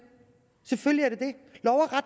selvfølgelig at de